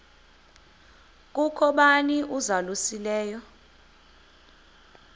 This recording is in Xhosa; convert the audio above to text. kukho bani uzalusileyo